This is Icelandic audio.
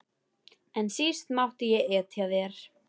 En síst mátti ég etja þér.